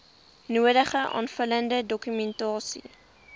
nodige aanvullende dokumentasie